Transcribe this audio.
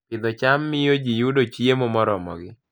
Pidho cham miyo ji yudo chiemo moromogi